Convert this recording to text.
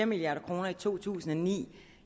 milliard kroner i to tusind og ni